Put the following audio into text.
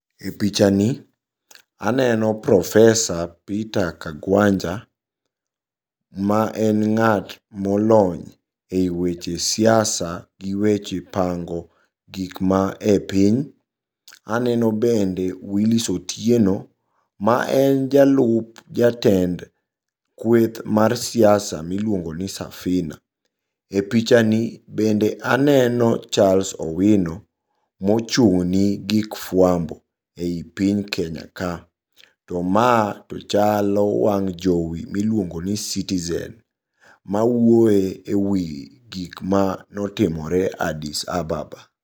E pichani aneno Profesa Peter Kagwanja maen ng'at molony e weche siasa gi weche pango gikma e piny. Aneno bende Willis Otieno maen jalup jatend kweth mar siasa miluongo ni Safina. E pichani bende aneno Charles owino mochung'ne gik fuambo ei piny Kenya ka. To ma tochalo wang' jowi miluongoni Citizen, mawuoye e wi gikma notimore Addis Ababa.